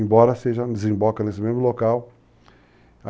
seja, desemboca nesse mesmo local.